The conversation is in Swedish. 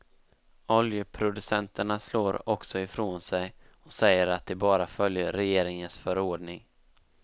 Oljeproducenterna slår också ifrån sig och säger att de bara följer regeringens förordning.